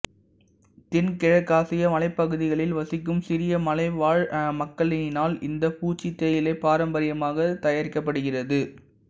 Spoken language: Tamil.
தென்கிழக்காசிய மலைப்பகுதிகளில் வசிக்கும் சிறிய மலைவாழ் மக்களினால் இந்த பூச்சி தேயிலை பாரம்பரியமாகத் தயாரிக்கப்படுகிறது